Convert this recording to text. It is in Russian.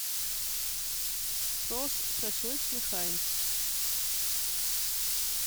соус шашлычный хайнц